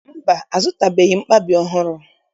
Mba, azụtabeghị m mkpabi ọhụrụ